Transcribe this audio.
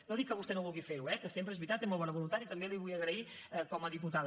no dic que vostè no vulgui fer ho eh que sempre és veritat té molt bona voluntat i també l’hi vull agrair com a diputada